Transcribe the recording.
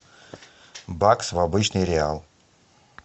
бакс в обычный реал